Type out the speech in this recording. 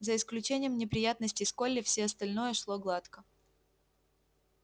за исключением неприятностей с колли все остальное шло гладко